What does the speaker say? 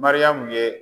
Mariyamu ye